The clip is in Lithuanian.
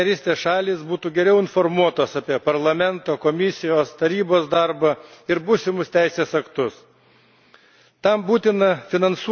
Turime užtikrinti, kad Rytų partnerystės šalys būtų geriau informuotos apie Parlamento, Komisijos bei Tarybos darbą ir būsimus teisės aktus.